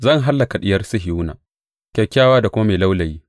Zan hallaka Diyar Sihiyona, kyakkyawa da kuma mai laulayi.